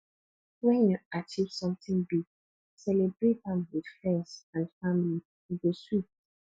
when you achieve something big celebrate am with friends and family e go sweet